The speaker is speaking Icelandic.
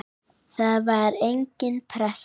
Það var engin pressa.